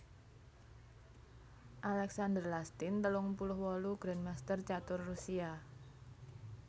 Alexander Lastin telung puluh wolu grandmaster catur Rusia